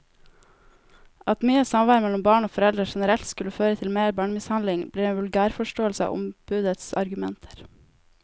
At mye samvær mellom barn og foreldre generelt skulle føre til mer barnemishandling, blir en vulgærforståelse av ombudets argumenter.